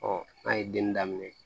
n'a ye denni daminɛ